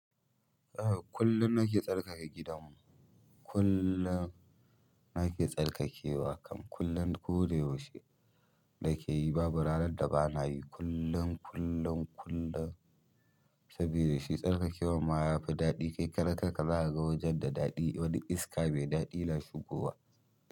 Haka, kullum nake tsarkake gidanmu. Kullum nake tsarkakewa, kam kullum. Ko da yaushe da ka yi babu ranar da ba na yi kullum, kullum, kullum. Saboda shi tsarkakewa ma ya fi daɗi. Kai karar kanka za ka ga wajen da daɗi. Wani iska mai daɗi na shigowa.